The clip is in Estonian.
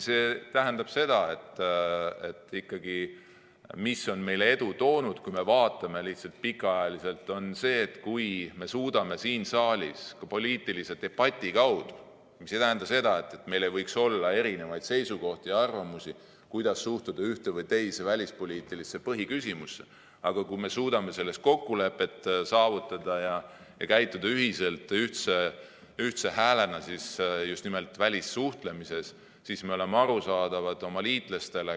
See tähendab seda, et meile on edu toonud see, kui me vaatame pikaajaliselt ette, kui me suudame siin saalis ka poliitilise debati kaudu kokkuleppe saavutada ja käituda ühiselt, ühtse häälena just nimelt välissuhtlemises, sest siis me oleme oma liitlastele arusaadavad.